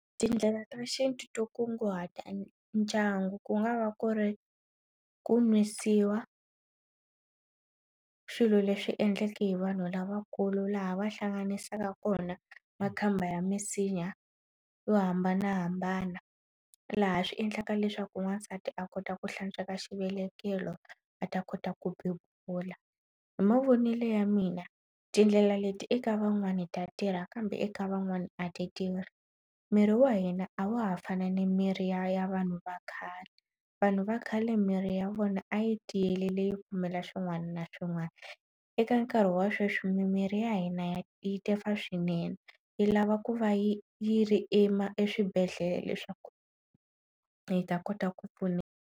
Tindlela ta xintu to kunguhata ndyangu ku nga va ku ri ku nwisiwa swilo leswi endlaka hi vanhu lavakulu laha va hlanganisaka kona makhamba ya misinya yo hambanahambana laha swi endlaka leswaku n'wansati a kota ku hlantsweka xivelekelo a ta kota ku bebula hi mavonele ya mina tindlela leti eka van'wani ta tirha kambe eka van'wani a ti tirhi mirhi wa hina a wa ha fana ni mirhi ya ya vanhu va khale vanhu va khale miri ya vona a yi tiyele leyi kumela xin'wana na xin'wana eka nkarhi wa sweswi mimiri ya hina ya yi tefa swinene yi lava ku va yi yi ri ima eswibedhlele leswaku yi ta kota ku pfuneka.